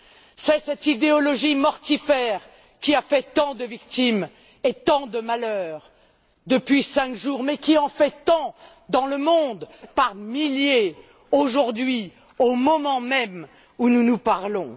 C'est cette idéologie mortifère qui a fait tant de victimes et tant de malheurs depuis cinq jours mais qui en fait tant dans le monde par milliers aujourd'hui, au moment même où nous nous parlons.